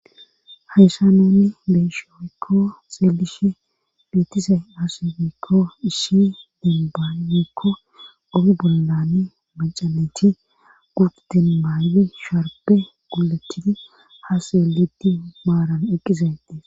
hayssan nuni beyshe woykko xeelishe beetizay aaze gikon issi demba woyekko oge bollani maca nayt gurde maydi sharbe gulatidi ha xeelidi maaran eqqizay